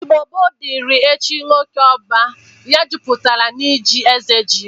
Igbo gboo dịri echi nwoke ọba ya jụpụtara n'ji eze ji.